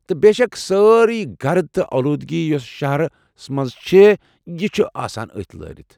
تہٕ بے شک سٲرٕے گرٕد تہٕ اولودگی یۄسہٕ شہرس منٛز چِھ یہٕ چِھ آسان أتھۍ لٲرِتھ ۔